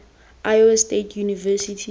iowa state university